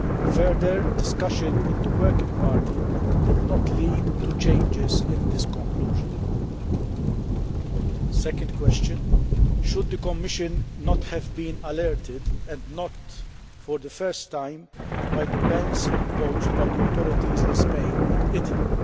Further discussion in the working party did not lead to changes in this conclusion. The second question should the Commission not have been alerted and not first by the bans imposed by the authorities in Spain and Italy?